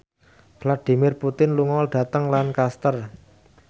Vladimir Putin lunga dhateng Lancaster